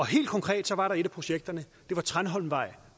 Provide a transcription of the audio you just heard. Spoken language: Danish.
helt konkret var et af projekterne tranholmvej